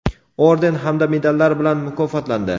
orden hamda medallar bilan mukofotlandi:.